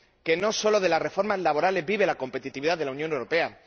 Que no solo de las reformas laborales vive la competitividad de la Unión Europea.